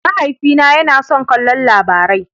Mahaifina yana son kallon Labarai.